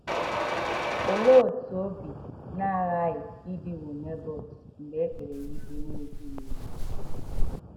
Olee otú obi na - aghaghị ịdịwo Nebọt mgbe e kpere ya ikpe na - ezighị ezi?